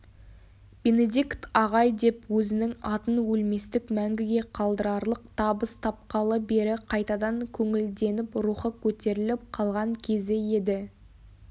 бенедикт ағай деп өзінің атын өлместік мәңгіге қалдырарлық табыс тапқалы бері қайтадан көңілденіп рухы көтеріліп қалған кезі еді